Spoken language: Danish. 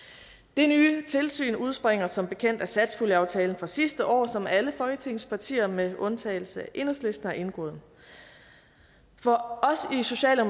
det nye tilsyn udspringer som bekendt af satspuljeaftalen fra sidste år som alle folketingets partier med undtagelse af enhedslisten har indgået for